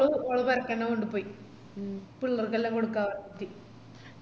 ഓള് പോരക്കന്നെ കൊണ്ടു പോയി പിള്ളാർക്കെല്ലാം കൊടുക്കാ പറഞ്ഞിറ്റ്